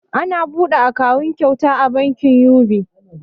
Ana buɗe akawun kyauta a bankin yubi'e